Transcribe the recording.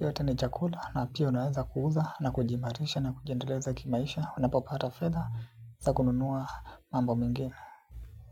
Yote ni chakula na pia unaweza kuuza na kujiimarisha na kujiendeleza kimaisha. Unapopata fedha za kununua mambo mengine.